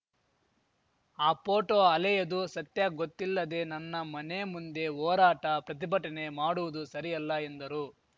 ಆ ಪೋಟೋ ಹಲೆಯದು ಸತ್ಯಗೊತ್ತಿಲ್ಲದೆ ನನ್ನ ಮನೆ ಮುಂದೆ ಹೋರಾಟ ಪ್ರತಿಭಟನೆ ಮಾಡುವುದು ಸರಿಯಲ್ಲ ಎಂದರು